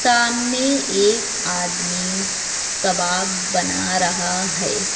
सामने एक आदमी कबाब बना रहा है।